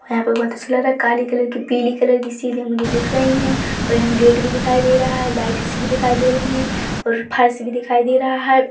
यहाँ पे बहोत अच्छा लग रहा है काली कलर की पिली कलर की सिलिंग मुझे दिख रही हे और यहाँ गेट भी दिखाई दे रहा है लाइट सी भी दिखाई दे रही है और फर्श भी दिखाई दे रहा है।